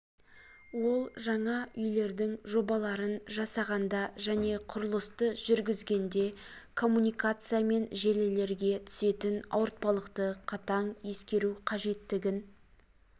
ол жаңа үйлердің жобаларын жасағанда және құрылысты жүргізгенде коммуникация мен желілерге түсетін ауыртпалықты қатаң ескеру қажеттігін